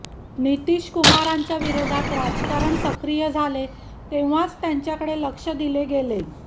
नितीशकुमारांच्या विरोधात राजकारण सक्रिय झाले तेव्हाच त्यांच्याकडे लक्ष दिले गेले